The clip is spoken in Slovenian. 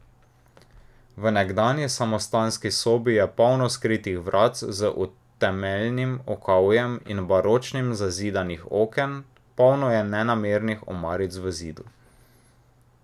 V nekdanji samostanski sobi je polno skritih vratc z umetelnim okovjem in baročnih zazidanih oken, polno je nenamernih omaric v zidu.